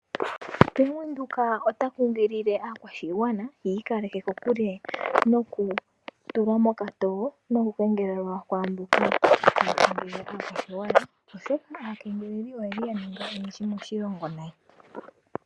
Bank windhoek ota kunkilile aakwashigwana yi ikaleke kokule noku tulwa moka towo noku kengelelwa ku mboka yeli haya kengelele aakwashigwana. Aakengeleli oyeli ya ninga oyendji moshilongo nayi.